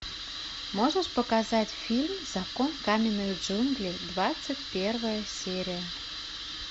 можешь показать фильм закон каменных джунглей двадцать первая серия